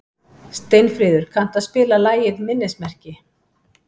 Steinfríður, kanntu að spila lagið „Minnismerki“?